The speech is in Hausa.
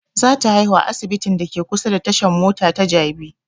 Za ta haihu a asibitin da ke kusa da tashan mota ta jabi